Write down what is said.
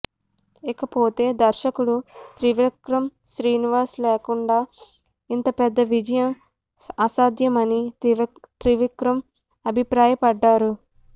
ఇకపోతే దర్శకుడు త్రివిక్రమ్ శ్రీనివాస్ లేకుండా ఇంత పెద్ద విజయం అసాధ్యమని త్రివిక్రమ్ అభిప్రాయపడ్డారు